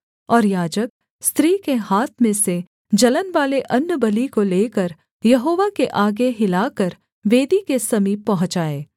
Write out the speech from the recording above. और याजक स्त्री के हाथ में से जलनवाले अन्नबलि को लेकर यहोवा के आगे हिलाकर वेदी के समीप पहुँचाए